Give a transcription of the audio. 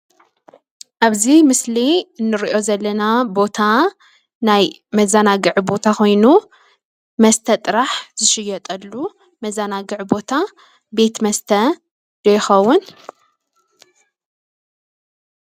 ኣብዚ ምስሊ እንሪኦ ዘለና ቦታ ናይ መዛናግዒ ቦታ ኮይኑ መስተ ጥራሕ ዝሽየጠሉ መዛናግዒ ቦታ ቤት መስተ ዶ ይኸውን?